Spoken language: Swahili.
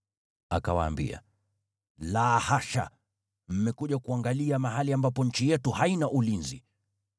Akawaambia, “La hasha! Mmekuja kuangalia mahali ambapo nchi yetu haina ulinzi.”